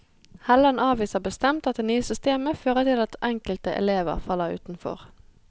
Helland avviser bestemt at det nye systemet fører til at enkelte elever faller utenfor.